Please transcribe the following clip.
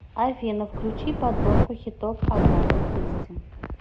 афина включи подборку хитов агаты кристи